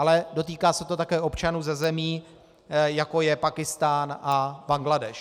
Ale dotýká se to také občanů ze zemí, jako je Pákistán a Bangladéš.